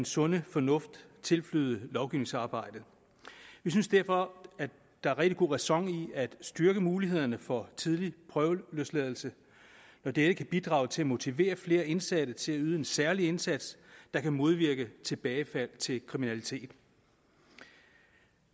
sunde fornuft tilflyde lovgivningsarbejdet vi synes derfor at der er rigtig god ræson i at styrke mulighederne for tidlig prøveløsladelse når dette kan bidrage til at motivere flere indsatte til at yde en særlig indsats der kan modvirke tilbagefald til kriminalitet